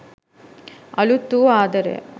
අලුත් වූ ආදරය